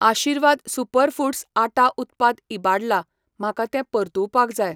आशीर्वाद Super Foods आटा उत्पाद इबाडला, म्हाका तें परतुवपाक जाय.